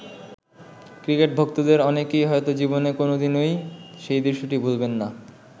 Cricket ভক্তদের অনেকেই হয়তো জীবনে কোন দিনই সেই দৃশ্যটি ভুলবেন না।